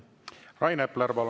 Rain Epler, palun!